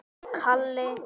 Hér eru nokkur þeirra.